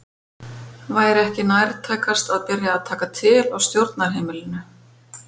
Væri ekki nærtækast að byrja að taka til á stjórnarheimilinu?